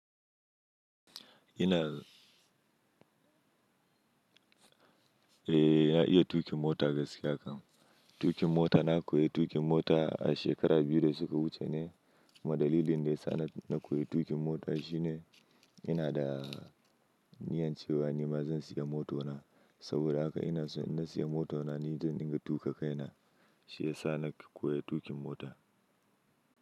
Ina, eh na iya tuƙin mota gaskiya kam. Tuƙin mota na koyi tuƙin mota a shekaru biyu da suka wuce ne. Madadilin da ya sa na koyi tuƙin mota shine ina da niyyar cewa nima zan siya mota na. Saboda haka ina in na siya mota na, ni zan inga tuƙa kai na. Shi ya sa na koyi tuƙin mota.